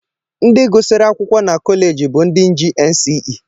Ndị gụsịrị akwụkwọ na kọleji bụ ndị ji NCE.